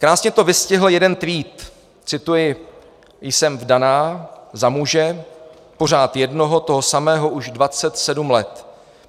Krásně to vystihl jeden tweet - cituji: "Jsem vdaná za muže, pořád jednoho, toho samého, už 27 let.